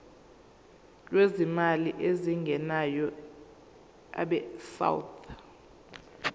lwezimali ezingenayo abesouth